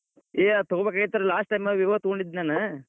ಏ ಆದ್ ತೂಗೋಬೇಕಾಗೇತ್ರಿ last time Vivo ತೊಗೊಂಡಿದ್ದೇ ನಾನ್.